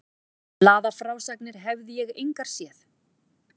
Blaðafrásagnir hefði ég engar séð.